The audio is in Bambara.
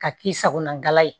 Ka k'i sagona ye